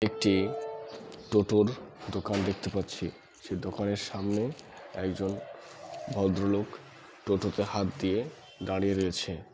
একটি টোটো -র দোকান দেখতে পাচ্ছি সে দোকানের সামনে একজন ভদ্রলোক টোটো -তে হাত দিয়ে দাঁড়িয়ে রয়েছে।